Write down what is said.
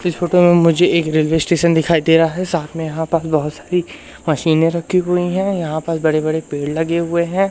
इस फोटो में मुझे एक रेलवे स्टेशन दिखाई दे रहा है साथ में यहां पर बहोत सारी मशीनें रखी हुईं हैं यहां पर बड़े बड़े पेड़ लगे हुएं हैं।